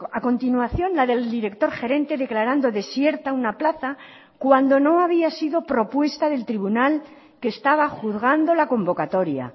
a continuación la del director gerente declarando desierta una plaza cuando no había sido propuesta del tribunal que estaba juzgando la convocatoria